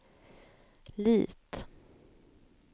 Lit